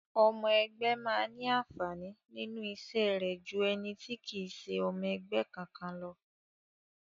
Ọmọ ẹgbé máa ní àǹfàní nínú iṣẹ́ rẹ̀ jú ẹni tí kì í ṣe ọmọ ẹgbẹ́ kankan lọ.